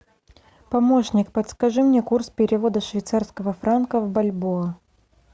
помощник подскажи мне курс перевода швейцарского франка в бальбоа